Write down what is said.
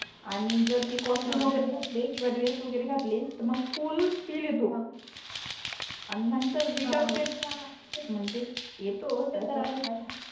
आणि जर ते कास्ट्यूम वगेरे घातले हा हा किवा ड्रेस घातले मग फुल फिल येतो अन नाही हो हो तर विथआउट याच्या म्हणजे येतो तस नाही ते तर आहे आहेच